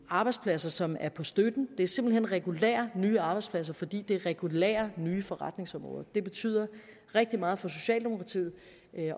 arbejdspladser som ikke er på støtten det er simpelt hen regulære nye arbejdspladser fordi det er regulære nye forretningsområder det betyder rigtig meget for socialdemokratiet